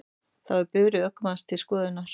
Þá er bifreið ökumanns til skoðunar